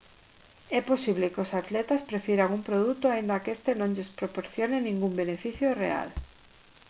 é posible que os atletas prefiran un produto aínda que este non lles proporcione ningún beneficio real